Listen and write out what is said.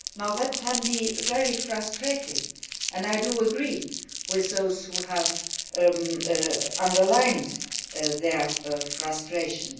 That can be very frustrating, and I agree with those who have underlined their frustrations.